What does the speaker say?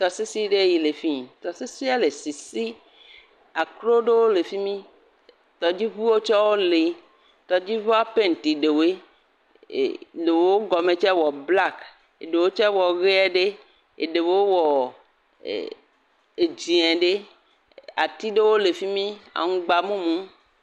Tɔsisi ɖe yi le fii. Tɔsisia le sisi. Akro ɖewo le fi mi. Tɔdziŋuwo tsɛwo lee. Tɔdziŋuwo penti ɖewoɖe. E ɖewo gɔme tsɛ wɔ blak, ɖewo tsɛ wɔ ʋeɛ ɖe. Eɖewo wɔ ɛ edzẽ ɖe. Ati ɖewo le fi mi. Aŋugba mumu.